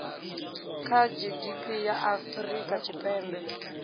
kha gdp ya afrika tshipembe